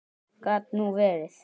Gat nú verið.